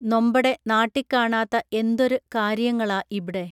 നൊമ്പടെ നാട്ടിക്കാണാത്ത എന്തൊര് കാരിയങ്ങളാ ഇബ്ടെ